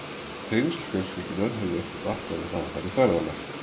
Tengsl fjölskyldunnar höfðu ekki batnað við það að fara í ferðalag.